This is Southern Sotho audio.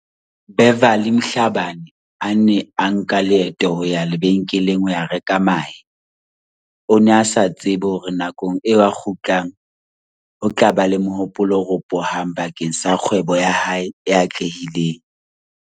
Beverly Mhla bane a ne a nka leeto ho ya lebe nkeleng ho ya reka mahe, o ne a sa tsebe hore nakong eo a kgutlang ho tla ba le mohopolo o ropohang ba keng sa kgwebo ya hae e atlehileng.